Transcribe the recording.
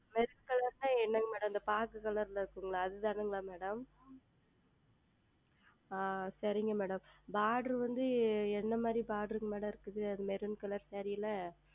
என்றால் என்ன இந்த பாச Color இல் இருக்கும்ல அது தானே Madam ஆஹ் சரிங்கள் Madam Border வந்து எந்த மாதிரி BorderMadam இருக்கு Maroon ColorSaree ல